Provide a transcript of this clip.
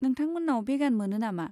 नोंथांमोन्नाव भेगान मोनो नामा?